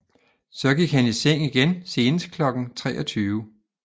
Så gik han i seng igen senest kl 23